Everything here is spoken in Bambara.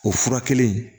O furakɛli